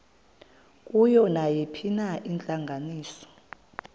kuyo nayiphina intlanganiso